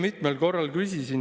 Neid murekohti jätkub veel, eks ju.